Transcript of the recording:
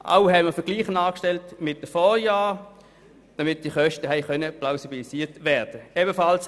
Auch haben wir Vergleiche mit den Vorjahren angestellt, damit diese Kosten plausibilisiert werden konnten.